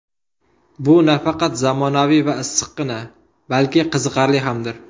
Bu nafaqat zamonaviy va issiqqina, balki qiziqarli hamdir.